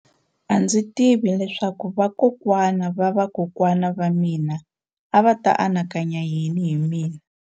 A ndzi tivi leswaku vakokwana-va-vakokwana va mina a va ta anakanya yini hi mina.